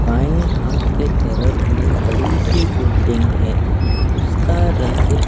बाएं हाथ के तरफ में बड़ी सी बिल्डिंग है उसका रंग--